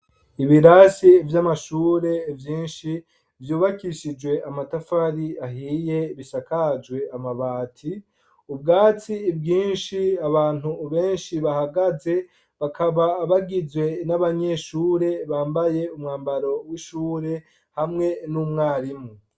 Ibirasi vyamashure vyinshi vyubakishijwe amatafari ahiye bisakajwe amabati, ubwatsi bwinshi Abantu benshi bahagaze bakaba bagizwe nabanyeshure bambaye umwambaro wishure hamwe numwarimu.